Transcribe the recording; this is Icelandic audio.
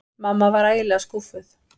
Mamma var ægilega skúffuð.